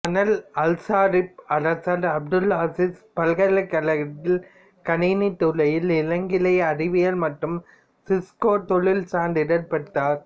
monal Alsharif அரசர் Abdul Aziz பல்கலைக்கழகத்தில் கணினித் துறையில் இளங்கலை அறிவியல் மற்றும் சிஸ்கோ தொழில் சான்றிதழ் பெற்றார்